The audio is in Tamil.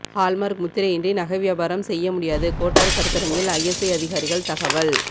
ஹால்மார்க் முத்திரையின்றி நகை வியாபாரம் செய்ய முடியாது கோட்டாறு கருத்தரங்கில் ஐஎஸ்ஐ அதிகாரிகள் தகவல்